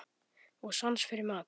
Og sans fyrir mat.